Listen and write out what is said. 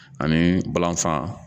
Ani balanfa